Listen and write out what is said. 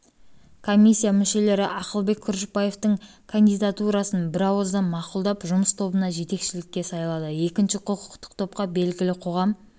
комиссия мүшелері ақылбек күрішбаевтың кандидатурасын бірауыздан мақұлдап жұмыс тобына жетекшілікке сайлады екінші құқықтық топқа белгілі қоғам